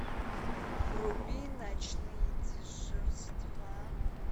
вруби ночные дежурства